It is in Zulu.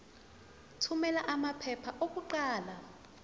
thumela amaphepha okuqala